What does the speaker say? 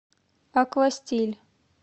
аква стиль